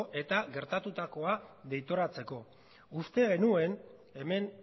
eta gertatutakoa deitoratzeko uste genuen hemen